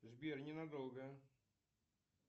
сбер ненадолго